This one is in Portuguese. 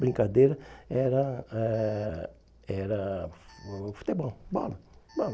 Brincadeira era ãh era fu futebol, bola, bola.